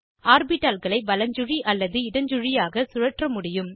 ஆர்பிட்டால்களை வலஞ்சுழி அல்லது இடஞ்சுழியாக சுழற்ற முடியும்